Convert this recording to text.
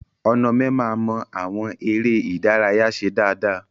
Onome ma mọ àwọn eré ìdárayá ṣe dáadáa.